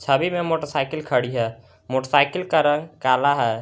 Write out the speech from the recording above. छवि में मोटरसाइकिल खड़ी है मोटरसाइकिल का रंग काला है।